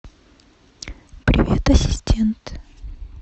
привет ассистент